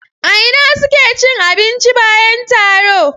A ina suke cin abinci bayan taro?